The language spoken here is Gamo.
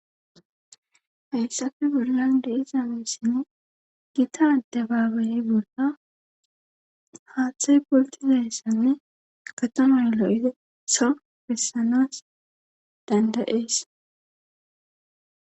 hayssappe bollan de7izaameessinne gita de baabayey bolla haaththay poltizaessanne apatomayolo7ide so fessanas dandayees